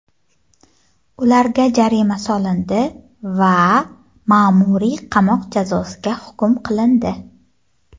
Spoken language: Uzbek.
ularga jarima solindi va ma’muriy qamoq jazosiga hukm qilindi.